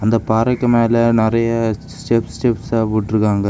இந்தப் பாறைக்கு மேல நிறைய ஸ்டெப் ஸ்டெப்ஸா போட்ருக்காங்க.